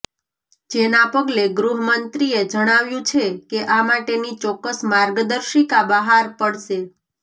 જેના પગલે ગૃહમંત્રીએ જણાવ્યું છે કે આ માટેની ચોક્કસ માર્ગદર્શિકા બહાર પડશે